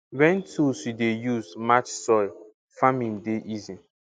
wen tool you dey use match soil farming dey easy